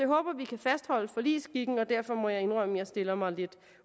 håber vi kan fastholde forligsskikken og derfor må jeg indrømme at jeg stiller mig lidt